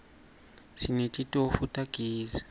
sinetitofu tagezi